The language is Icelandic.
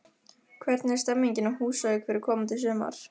Hvernig er stemmingin á Húsavík fyrir komandi sumar?